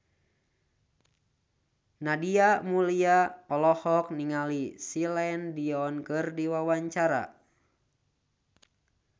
Nadia Mulya olohok ningali Celine Dion keur diwawancara